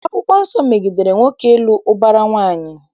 Akwụkwọ Nsọ megidere nwoke ịlụ ụbara nwaanyị